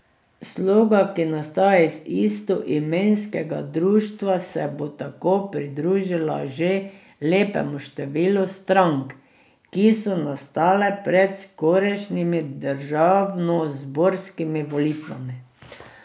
Sloga, ki nastaja iz istoimenskega društva, se bo tako pridružila že lepemu številu strank, ki so nastale pred skorajšnjimi državnozborskimi volitvami.